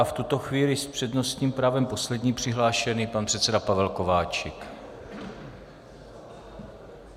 A v tuto chvíli s přednostním právem poslední přihlášený pan předseda Pavel Kováčik.